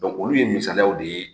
olu ye misaliyaw de ye